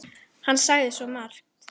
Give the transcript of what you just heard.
Hann sagði svo margt.